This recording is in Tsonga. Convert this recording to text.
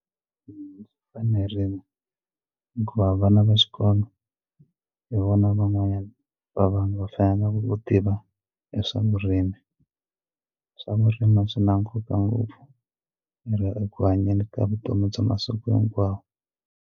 Swi fanerile hikuva vana va xikolo hi vona van'wanyana va vanhu va fanele ku tiva hi swa vurimi swa vurimi swi na nkoka ngopfu eku hanyeni ka vutomi bya masiku hinkwawo.